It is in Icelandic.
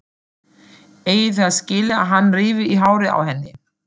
Eigi það skilið að hann rífi í hárið á henni.